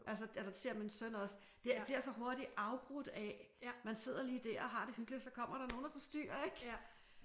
Altså eller det siger min søn også. Det bliver så hurtigt afbrudt af man sidder lige der og har det hyggeligt og så kommer der nogen og forstyrrer ik